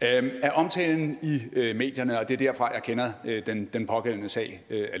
af omtalen i medierne og det er alene derfra jeg kender den pågældende sag